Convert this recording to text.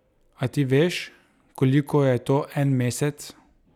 A ti veš, koliko je to en mesec?